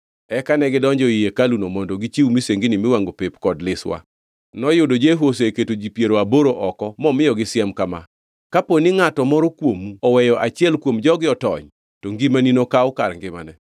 Eka negidonjo ei hekaluno mondo gichiw misengini miwangʼo pep kod liswa. Noyudo Jehu oseketo ji piero aboro oko momiyogi siem kama: “Kapo ni ngʼato moro kuomu oweyo achiel kuom jogi otony, to ngimani nokaw kar ngimane.”